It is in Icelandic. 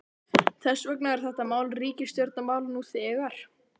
Þess vegna er þetta mál ríkisstjórnarmál nú þegar!